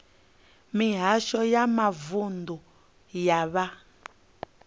mihasho ya mavunḓu ya vha